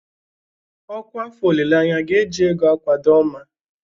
Ọkwa afọ olileanya ga-eji ego akwado Oma.